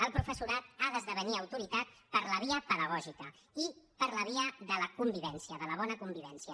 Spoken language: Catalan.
el professorat ha d’esdevenir autoritat per la via pedagògica i per la via de la convivència de la bona convivència